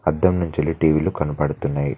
అద్దం నుంచెల్లి టీవి లు కనబడుతున్నాయ్.